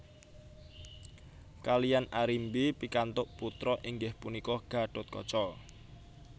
Kaliyan Arimbi pikantuk putra inggih punika Gatotkaca